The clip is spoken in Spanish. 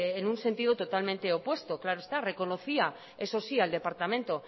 en un sentido totalmente opuesto claro está reconocía eso sí al departamento